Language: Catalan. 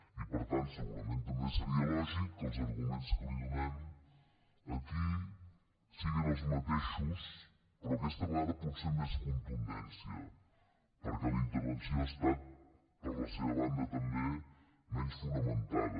i per tant segurament també seria lògic que els arguments que li donem aquí siguin els mateixos però aquesta vegada potser amb més contundència perquè la intervenció ha estat per la seva banda també menys fonamentada